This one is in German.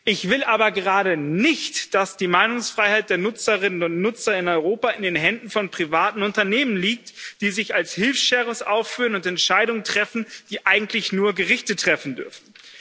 Ich will aber gerade nicht, dass die Meinungsfreiheit der Nutzerinnen und Nutzer in Europa in den Händen von privaten Unternehmen liegt, die sich als Hilfssheriffs aufführen und Entscheidungen treffen, die eigentlich nur Gerichte treffen dürfen.